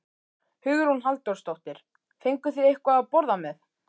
Hugrún Halldórsdóttir: Fenguð þið eitthvað að borða með?